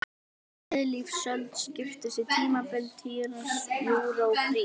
Miðlífsöld skiptist í tímabilin trías, júra og krít.